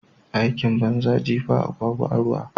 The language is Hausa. Aikin banza jefa agwagwa a ruwa.